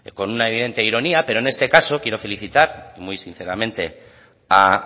con una evidente ironía pero en este caso quiero felicitar muy sinceramente a